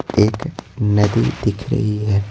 एक नदी दिख रही है।